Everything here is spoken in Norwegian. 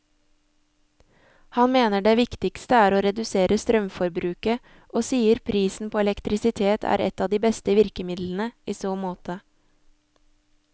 Han mener det viktigste er å redusere strømforbruket, og sier prisen på elektrisitet er et av de beste virkemidlene i så måte.